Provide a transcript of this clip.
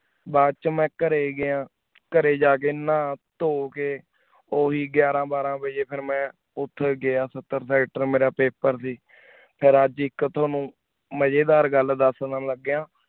ਬਾਅਦ ਚੋ ਮੈਂ ਕਰੀ ਗਿਆ ਕਰੀ ਜਾ ਕੀ ਨਾ ਟੋਹ ਕੀ ਓਹੀ ਗਿਯਰ ਬਾਰਾਂ ਵਜੀ ਫਿਰ ਮੈਂ ਓਤੇ ਸਤ੍ਟਰ writer ਮੇਯਰ paper ਸੇ ਫਿਰ ਅਜੇ ਇਕ ਤਾਵਾਨੁ ਮਾਏਦਾਰ ਗਲ ਦਸ ਦਸਾਂ ਲਾਗ੍ਯਾਂ